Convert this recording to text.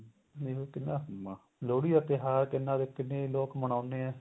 ਦੇਖਲੋ ਪਹਿਲਾਂ ਲੋਹੜੀ ਦਾ ਤਿਉਹਾਰ ਕਿੰਨਾ ਕਿੰਨੇ ਲੋਕ ਮਨਾਉਂਦੇ ਆ